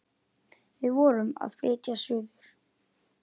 Við vorum að flytja suður.